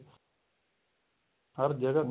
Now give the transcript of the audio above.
ਹਰ ਜਗ੍ਹਾ